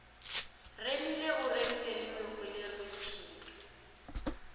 remile o remile le mehweleretshipi